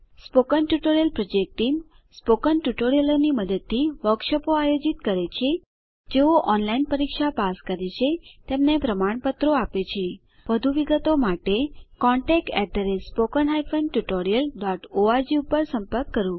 spoken tutorial project team spoken ટ્યુટોરીયલોનાં મદદથી વર્કશોપોનું આયોજન કરે છે જેઓ ઓનલાઈન પરીક્ષા પાસ કરે છે તેમને પ્રમાણપત્રો આપે છે વધુ વિગત માટે કૃપા કરી contactspoken tutorialorg પર સંપર્ક કરો